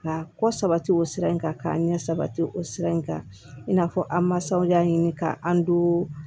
Ka kɔ sabati o sira in kan k'a ɲɛ sabati o sira in kan i n'a fɔ an masaw y'a ɲini k'an don